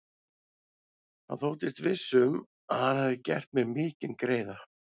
Hann þóttist viss um, að hann hefði gert mér mikinn greiða.